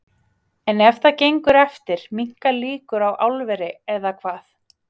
En ef það gengur eftir minnka líkur á álveri, eða hvað?